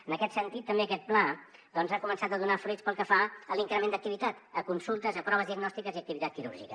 en aquest sentit també aquest pla ha començat a donar fruits pel que fa a l’increment d’activitat a consultes a proves diagnòstiques i a activitat quirúrgica